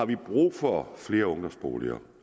vi har brug for flere ungdomsboliger